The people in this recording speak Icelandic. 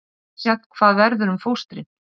Misjafnt hvað verður um fóstrin